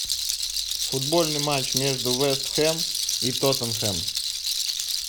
футбольный матч между вест хэм и тоттенхэм